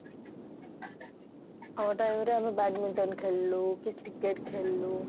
ଆମ time ରେ ଆମେ badminton ଖେଳିଲୁ କି cricket ଖେଳିଲୁ